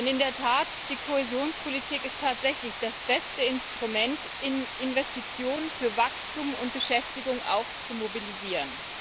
In der Tat ist die Kohäsionspolitik tatsächlich das beste Instrument, Investitionen für Wachstum und Beschäftigung auch zu mobilisieren.